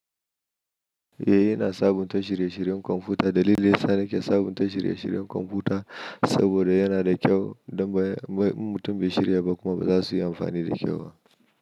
Eh, ina sabunta shirye-shiryen kwamfuta. Dalilin da yasa nake sabunta shirye-shiryen kwamfuta saboda yana da kyau don ba in mutum bai shirya ba kuma ba za su yi amfani da kyau ba.